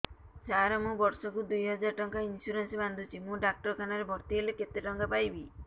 ସାର ମୁ ବର୍ଷ କୁ ଦୁଇ ହଜାର ଟଙ୍କା ଇନ୍ସୁରେନ୍ସ ବାନ୍ଧୁଛି ମୁ ଡାକ୍ତରଖାନା ରେ ଭର୍ତ୍ତିହେଲେ କେତେଟଙ୍କା ପାଇବି